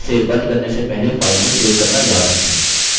इसे बंद करने से पहले file को सेव करना याद रखें